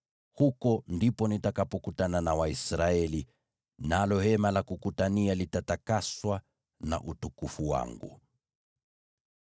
Huko ndipo nitakapokutana na Waisraeli, nalo Hema la Kukutania litatakaswa na utukufu wangu.